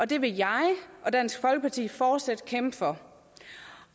det vil jeg og dansk folkeparti fortsat kæmpe for